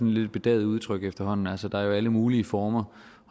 lidt et bedaget udtryk efterhånden altså der er jo alle mulige former